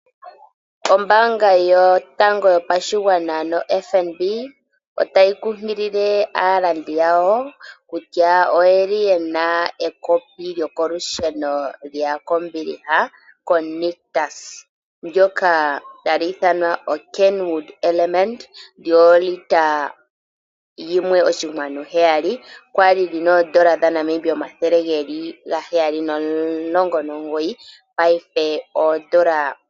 Ombaanga yotango yopashigwana otayi kunkilile aakwashigwana kutya oyeli ye na esindano lyekopi lyokolusheno kehangano lyanictus ndoka tali ithanwa oKenwood Elementa, lyoolita yimwe oshinkwanu heyali. Okwa li lyi na N$719 paife N$599.